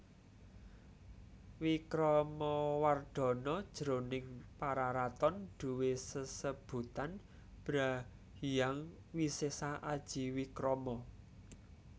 Wikramawardhana jroning Pararaton duwé sesebutan Bhra Hyang Wisesa Aji Wikrama